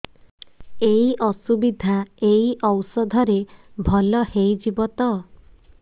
ଏଇ ଅସୁବିଧା ଏଇ ଔଷଧ ରେ ଭଲ ହେଇଯିବ ତ